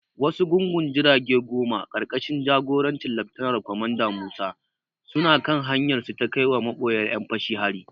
Wasu gungun jirage goma, ƙarƙashin jagorancin Laftanar Kwamanda Musa, suna kan hanyarsu ta kaiwa maboyar ƴan fashin hari.